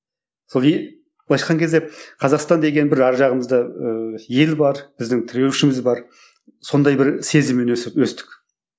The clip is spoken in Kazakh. былайша айтқан кезде қазақстан деген бір ар жағымызда ыыы ел бар біздің тіреушіміз бар сондай бір сезіммен өстік